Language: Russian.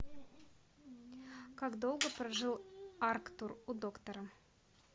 как долго прожил арктур у доктора